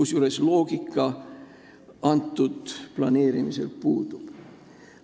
Selles planeerimises puudub loogika.